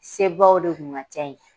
Sebaw de kun ka ca yen.